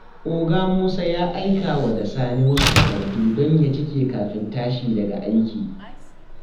Oga Musa ya aikawa da Sani wasu takardu don ya cike kafin tashi daga aiki.